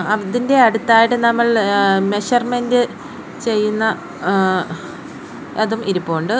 അതിൻ്റെ അടുത്തായിട്ട് നമ്മൾ ഏ മെഷർമെൻ്റ് ചെയ്യുന്ന ആ അതും ഇരിപ്പുണ്ട്.